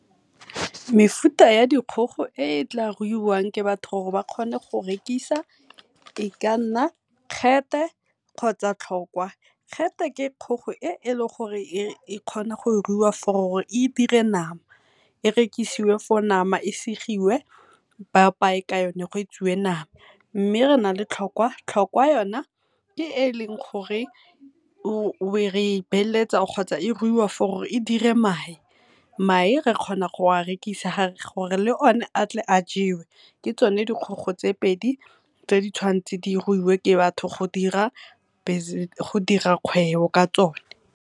Mefuta ya dikgogo e e tla ruiwang ke batho gore ba kgone go rekisa e ka nna kgotsa . ke kgogo e e leng gore e kgona go ruiwa for gore e dire nama, e rekisiwe for nama e segiwe, ba apaye ka yone go etsiwe nama. Mme re na le tlhokwa, tlhokwa yona ke e leng gore e ruiwa for gore e dire mae. Mae re kgona go a rekisa le o ne a tle a jewe, ke tsone dikgogo tse pedi tse di tshwantse di ruiwe ke batho go dira kgwebo ka tsone.